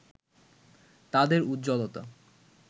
তাদের উজ্জ্বলতা